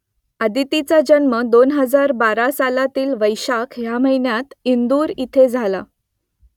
अदितीचा जन्म दोन हजार बारा सालातील वैशाख ह्या महिन्यात इंदूर इथे झाला